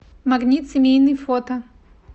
магнит семейный фото